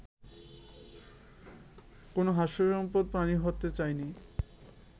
কোনো হাস্যস্পদ প্রাণী হতে চাইনি